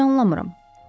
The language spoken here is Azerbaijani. Mən sizi anlamıram.